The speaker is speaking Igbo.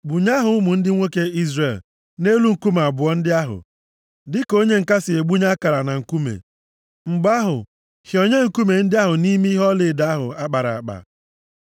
Gbunye aha ụmụ ndị nwoke Izrel nʼelu nkume abụọ ndị ahụ, dịka onye ǹka si egbunye akara na nkume. Mgbe ahụ, hịọnye nkume ndị ahụ nʼime ihe ọlaedo ahụ a kpara akpa,